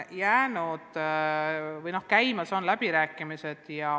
Praegu on käimas läbirääkimised.